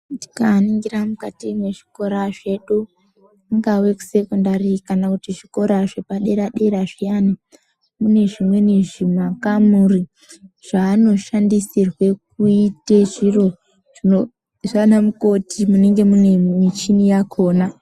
Ndikaningira mukati mezvikora zvedu kungave kusekondari kana kuti zvikora zvepadera-dera zviyani. Mune zvimweni zvimakamuri zvaanoshandisirwe kuite zviro zvana mukoti munenge mune michini yakona.